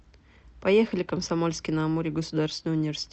поехали комсомольский на амуре государственный университет